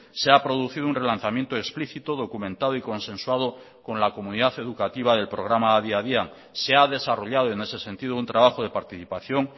se ha producido un relanzamiento explícito documentado y consensuado con la comunidad educativa del programa adi adian se ha desarrollado en ese sentido un trabajo de participación